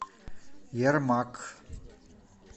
ермакъ